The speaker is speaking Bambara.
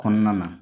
Kɔnɔna na